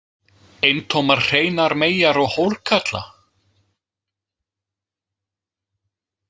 Eintómar hreinar meyjar og hórkarla?